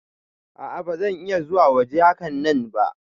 A'a ba zan iya zuwa waje hakanan ba.